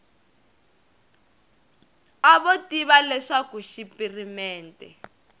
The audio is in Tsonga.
a vo tiva leswaku xipirimente